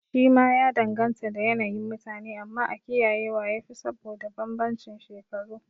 Shi ma ya danganta da yanayin mutane, amma a kiyaye wa yafi saboda banbancin shekaru